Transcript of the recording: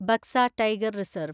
Baksa tiger reserve